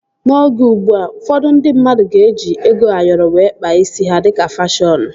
N'oge ugbua, ụfọdụ ndị mmadụ ga-eji ego Ayoro wee kpaa isi ha dịka fashọnu